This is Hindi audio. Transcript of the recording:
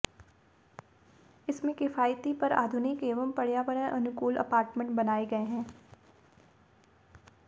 इसमें किफायती पर आधुनिक एवं पर्यावरण अनुकूल अपार्टमेंट बनाए गए हैं